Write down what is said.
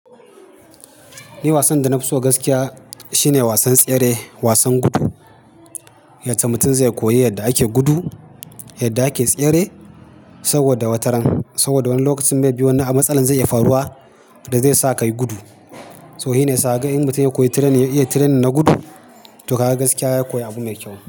Ni wasan da na fi so gaskiya shine wasan tsere, wasan gudu. Yace mutum zai koyi yadda ake gudu, yadda ake tsere saboda wataran. Saboda wani lokacin, may be, wani a matsalan zai iya faruwa, da zai sa ka yi gudu. To shi ne, sa haka in mutum ya koyi train, ya iya training na gudu, to kaga gaskiya ya koya abu mai kyau.